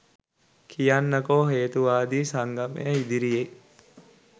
කියන්නකො හේතුවාදී සංගමය ඉදිරියේ